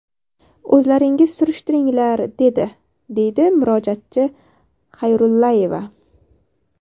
O‘zlaringiz surishtiringlar’, dedi”, deydi murojaatchi Xayrullayeva.